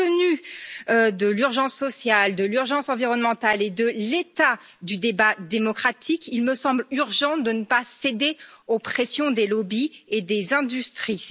Compte tenu de l'urgence sociale, de l'urgence environnementale et de l'état du débat démocratique, il me semble urgent de ne pas céder aux pressions des lobbies et des industries.